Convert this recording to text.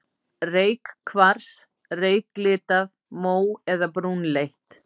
Reykkvars, reyklitað, mó- eða brúnleitt.